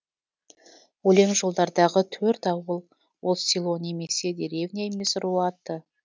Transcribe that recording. өлең жолдардағы төрт ауыл ол село немесе деревня емес ру аты